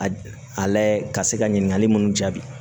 A a layɛ ka se ka ɲininkali mun jaabi